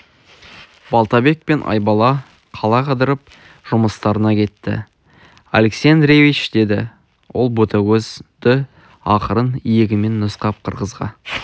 балтабек пен айбала қала қыдырып жұмыстарына кетті алексей андреевич деді ол ботагөзді ақырын иегімен нұсқап қырғызға